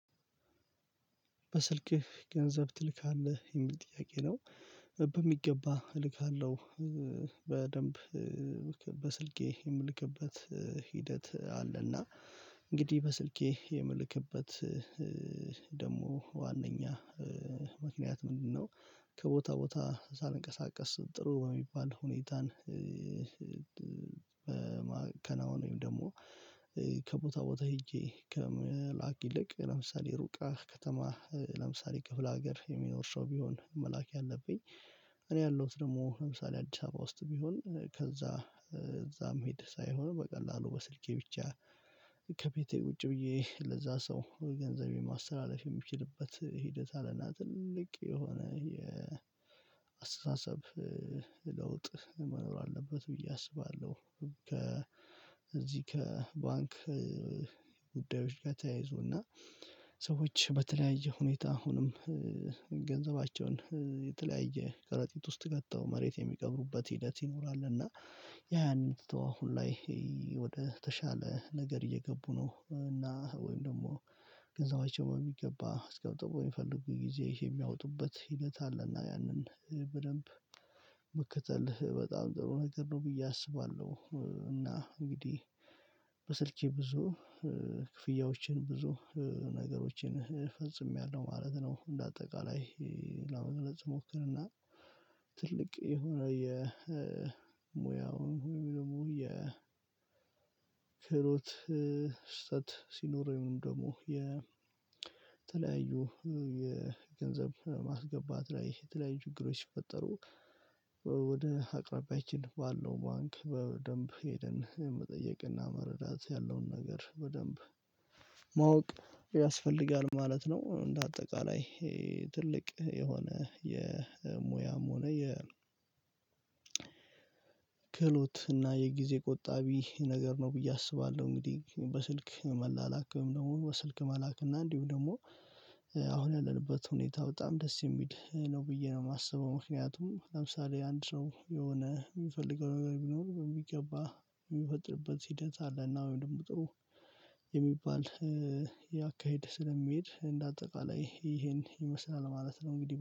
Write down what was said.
በስልክህ ገንዘብ ትልካለህ? የሚል ጥያቄ ነው በሚገባ እልካለሁ በደንብ በስልኬ የምልክበት ሂደት አለና እንግዲህ በስልኬ የምልክበት ደግሞ ዋናኛ ምክንያት ምንድነው ከቦታ ቦታ ሳልንቀሳቀስ ጥሩ የሚባል ሁኔታን ወይም ደግሞ ከቦታ ቦታ ሄጄ ከምላክ ይልቅ ለምሳሌ ሩቅ ከተማ ለምሳሌ ክፍለ ሀገር የሚኖር ሰው ቢሆን አመላክ ያለብኝ እኔ ያለሁት ደግሞ ለምሳሌ አዲስ አበባ ውስጥ ቢሆን ከዛ እዛ መሄድ ሳይሆን በቀላሉ በስልኬ ብቻ ከቤቴ ቁጭ ብዬ ለዛ ሰው ገንዘብ የማስተላለፍ የምችልበት ሂደት አለና ትልቅ የሆነ የ የአስተሳሰብ ለውጥ መኖር አለበት ብዬ አስባለሁ ከባንክ ጉዳዮች ጋር ተያይዞና ሰዎች በተለያየ ሁኔታ አሁንም ገንዘባቸውን የተለያየ ከረጢት ውስጥ ከተው መሬት የሚቀብሩበት ሂደት ይኖራል እና ያንን ትተው አሁን ላይ ወደ ተሻለ ነገር እየገቡ ነው እና ወይም ደግሞ ገንዘባቸው በሚገባ አስቀምጠው በሚፈልጉ ጊዜ የሚያወጡበት ሂደት አለና ያንን በደንብ መከተል በጣም ጥሩ ነገር ነው ብዬ አስባለሁ እና እንግዲህ በስልኬ ብዙ ክፍያዎችን ብዙ ነገሮችን ፈጽሜያለሁ ማለት ነው እንደ አጠቃላይ ለመግለጽ ስሞክርና ትልቅ የሆነ የሙያውን ወይም ደግሞ የክህሎት ስህተት ሲኖረኝ ደግሞ የተለያዩ የገንዘብ ማስገባት ላይ የተለያዩ ችግሮች ሲፈጠሩ ወደ አቅራቢያችን ባለው ባንክ በደንብ ሄደን መጠየቅና መረዳት ያለውን ነገር በደንብ ማወቅ ያስፈልጋል ማለት ነው እንደ አጠቃላይ ትልቅ የሆነ የሙያም ሆነ የ ክህሎት እና የጊዜ ቆጣቢ ነገር ነው ብዬ አስባለሁ እንግዲህ በስልክ መላላክ በመሆኑ ስልክ መላክና እንዲሁ ደግሞ አሁን ያለንበት ሁኔታ በጣም ደስ የሚል ነው ብዬ ነው የማስበው ምክንያቱም ለምሳሌ አንድ ሰው የሆነ የሚፈልገው ነገር ቢኖር በሚገባ የሚፈጥርበት ሲደርስ አለና ወይም ደግሞ ጥሩ የሚባል አካሄድ ስለሚሄድ እንደ አጠቃላይ ይሄን ይመስላል ማለት ነው እንግዲህ